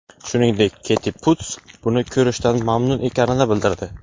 Shuningdek, Keti Puts buni ko‘rishdan mamnun ekanini bildirdi.